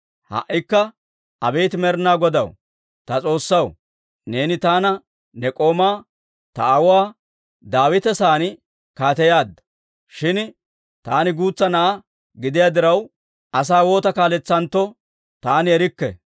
«Ha"ikka abeet Med'inaa Godaa, ta S'oossaw, neeni taana ne k'oomaa, ta aawuwaa Daawita sa'aan kaateyaadda. Shin taani guutsa na'aa gidiyaa diraw, asaa waata kaaletsanentto taani erikke.